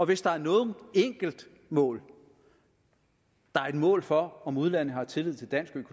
hvis der er noget enkeltmål der er et mål for om udlandet har tillid til dansk